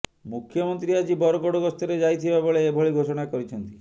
ମୁଖ୍ୟମନ୍ତ୍ରୀ ଆଜି ବରଗଡ଼ ଗସ୍ତରେ ଯାଇଥିବା ବେଳେ ଏଭଳି ଘୋଷଣା କରିଛନ୍ତି